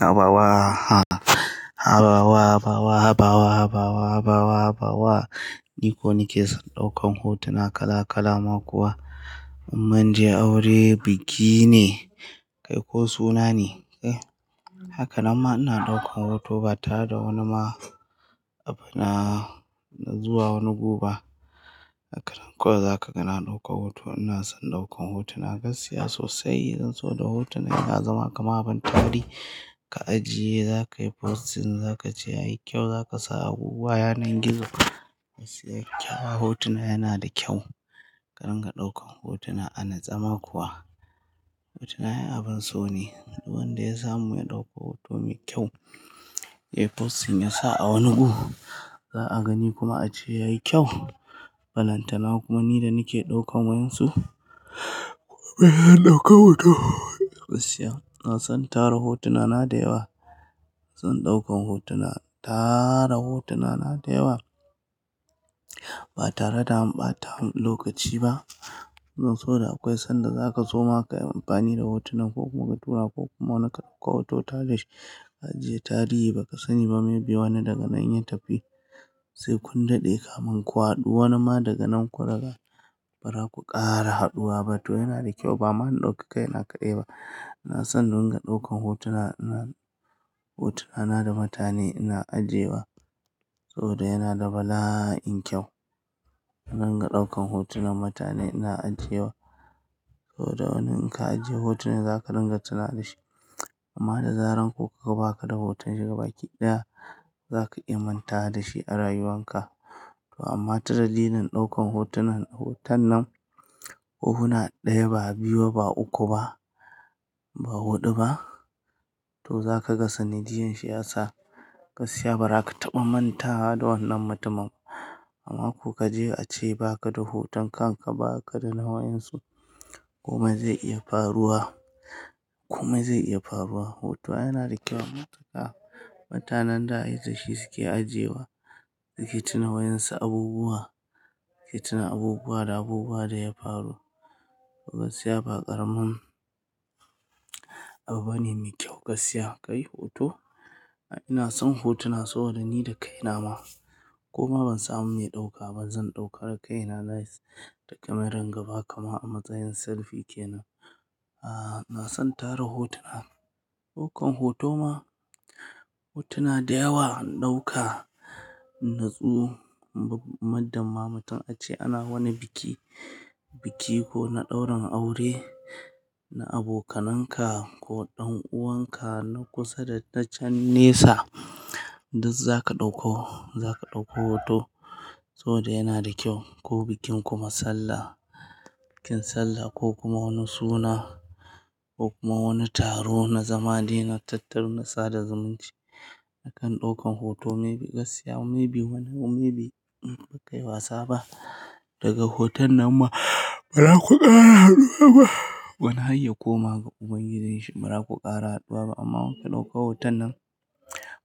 Habawa, habawa, habawa, habawa, habawa, habawa, habawa. Ni ko nake son ɗaukan hotuna kala-kala ma kuwa. In mun je aure, biki ne kai ko suna ne. Kai Haka nan ma ina ɗaukan hoto ba tare da wani ma abu na na zuwa wani gu ba. Haka nan kawai za ka ga na ɗauka hoto. Ina son ɗaukan hotuna, gaskiya sosai. Zan zo da hotunan ya zama kamar abin tarihi. Ka ajiye, za ka yi posting, za ka ce yayi kyau, za ka sa abubuwa, yanan gizo. Gaskiya kyau hotona yana da kyau. Ka dinga ɗaukan hotuna. A natse ma kuwa, hotuna ai abin so ne. Duk wanda ya samu ya ɗauka hoto mai kyau, ya yi posting ya sa a wani gu za a gani kuma a ce yayi kyau. Balantana kuma ni da nake ɗaukan wa'yansu. Kuma ya ɗauka hoto. Gaskiya, ina san tara hotunana da yawa. Zan ɗaukan hotuna, tara hotunana da yawa ba tare da amɓata lokaci ba. Zan so da akwai sanda za ka so ma ka yi amfani da hotunan ko kuma ka tura ko kuma wani ka ɗauka hoto tare da shi. Ka ajiye tarihi, ba ka sani ba maybe wani daga nan in ya tafi sai kun dade kaman ku. Ku haɗu wani ma daga nan ku raga bara, ku ƙara haɗuwa ba. Hoto yana da kyau. Ba ma in ɗauka kai na kaɗai ba. Ina san runga ɗaukan hotuna, ina hotuna na da mutane ina ajiyewa saboda yana da bala'in kyau. In runga ɗaukan hotunan mutane ina ajiyewa saboda wani in ka ajiye hotunan za ka ringa tunawa da shi. Amma da zaran ko kuwa baka da hoton shi gabaki ɗaya, za ka iya mantawa da shi a rayuwanka. To amma ta dalilin ɗaukan hotunan hoton nan, hohuna ɗaya ba biyu ba uku ba, ba huɗu ba. To za ka ga sanadiyyan shi ya sa gaskiya bara ka taɓa mantawa da wannan mutumin. Amma ko ka je a ce ba ka da hoton kan ka ba, ba ka da na wa'yan su komai zai iya faruwa. Komai zai iya faruwa. Hoto ai yana da kyau. Matuka-- mutanan da ai da shi suke ajiyewa. Suke tuna wa'yan su abubuwa, suke tuna abubuwa da abubuwa da ya faru. Gaskiya ba ƙaramin abu bane mai kyau. Gaskiya, ka yi hoto. Ina son hotuna saboda ni da kai na ma koma ban samu mai ɗauka ba. Zan ɗauka da kai na nice da kemaran gaba kamar a matsayin selfi kenan. Ah, ina san tara hotuna. Ɗaukan hoto ma, hotuna da yawa in ɗauka. Natsu, bam muddun ma mutun a ce ana wani biki. Biki ko na ɗaurin aure na abokananka ko ɗan uwanka na kusa da na can nesa. Duk za ka ɗauko, za ka ɗauko hoto saboda yana da kyau. Ko bikin kuma sallah, bikin sallah ko kuma wani suna ko kuma wani taro na zama de na tattaro na sada zumunci. Nakan ɗaukan hoto maybe gaskiya maybe wani maybe in ba kai wasa ba. Daga hoton nan ma, bara ku ƙara haɗuwa ba. Wani har ya koma ga ubangijinshi. Bara ku ƙara haɗuwa ba. Amma in kuka ɗauka hoton nan,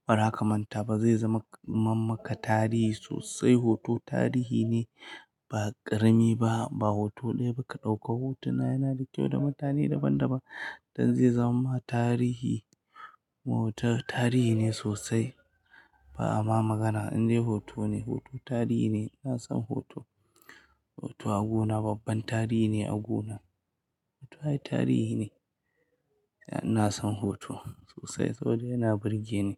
bara ka manta ba. Zai zama mammaka tarihi sosai. Hoto tarihi ne, ba ƙarami ba. Ba hoto ɗaya ba ka ɗauka. Hotuna yana da kyau da mutane daban-daban. Dan zai zamamma tarihi. Hoto tarihi ne sosai. Ba ama magana. In dai hoto ne, hoto tarihi ne. Ina son hoto. Hoto a guna, babban tarihi ne a guna. Hoto ai tarihi ne. Ina son hoto sosai saboda yana burge ni.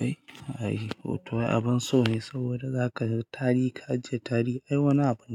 Ai, ai hoto ai abin so ne saboda za ka yi tarihi, ka ajiye tarihi. Ai, wani abu ne.